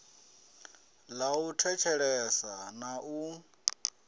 ḽa u thetshelesa na u